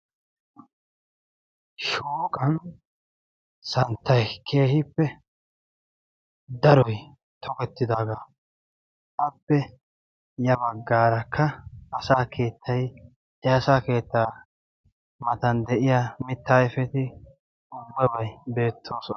shooqan santtay keehippe daroy togettidaagaa appe ya baggaarakka asa keettay e asa keettaa matan de'iya mitta ayfeti ubbebay beettoosona